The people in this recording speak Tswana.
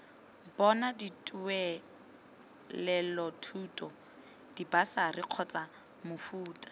bona dituelelothuto dibasari kgotsa mofuta